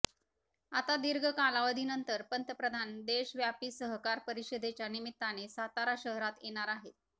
आता दीर्घ कालावधीनंतर पंतप्रधान देशव्यापी सहकार परिषदेच्या निमित्ताने सातारा शहरात येणार आहेत